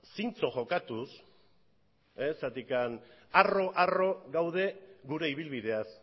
zintzo jokatuz harro harro gaudelako gure ibilbideaz